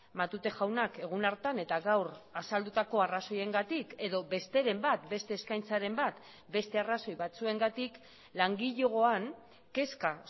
matute jaunak egun hartan eta gaur azaldutako arrazoiengatik edo besteren bat beste eskaintzaren bat beste arrazoi batzuengatik langilegoan kezka